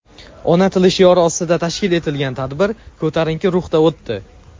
ona tilim shiori ostida tashkil etilgan tadbir ko‘tarinki ruhda o‘tdi.